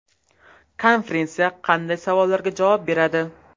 Konferensiya qanday savollarga javob beradi?